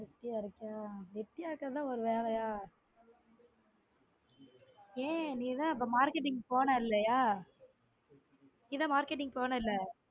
வெட்டியா இருக்கோம். வெட்டியா இருக்கறதெல்லாம் ஒரு வீலையா? ஏ நீதா அப்போ marketing போன இல்லையா? நீதா marketing போன இல்ல?